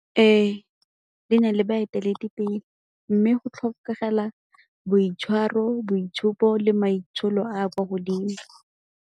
Ee, di na le baeteledipele mme go tlhokagala boitshwaro, boitshupo le maitsholo a a kwa godimo.